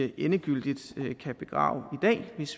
endegyldig kan begrave